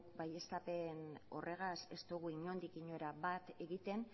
baieztapen horregaz ez dugu inondik inora bat egiten